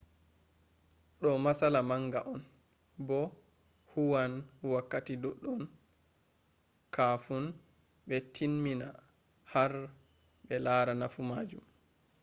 do matsala manga on bo hu an wakkati doddon kafun be tin mina har br lara nafu majun